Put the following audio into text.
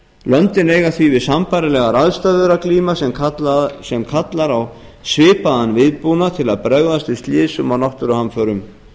löndin eiga því við sambærilegar aðstæður að glíma sem kallar á svipaðan viðbúnað til að bregðast við slysum og náttúruhamförum